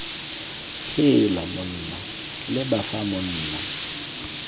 heela monna leba fa monna